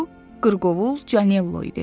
Bu qırqovul Canello idi.